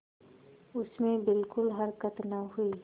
उसमें बिलकुल हरकत न हुई